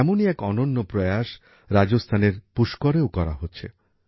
এমনই এক অনন্য প্রয়াস রাজস্থানের পুষ্করেও করা হচ্ছে